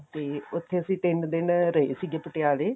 ਤੇ ਉੱਥੇ ਅਸੀਂ ਤਿੰਨ ਦਿਨ ਰਹੇ ਸੀ ਪਟਿਆਲੇ